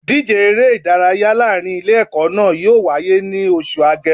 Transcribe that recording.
Ìdíje eré ìdárayá láàrin Ilé ẹ̀kọ́ náà yóò wáyé ní oṣù Agemo